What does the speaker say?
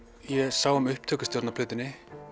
ég sá um upptökustjórn á plötunni